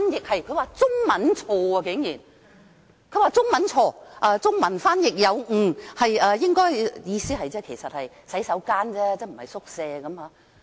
他們竟然指是中文出錯，是中文翻譯有誤，意思應是"洗手間"而非"宿舍"。